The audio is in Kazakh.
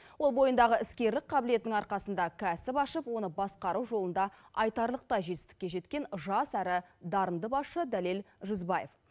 ол бойындағы іскерлік қабілетінің арқасында кәсіп ашып оны басқару жолында айтарлықтай жетістікке жеткен жас әрі дарынды басшы дәлел жүзбаев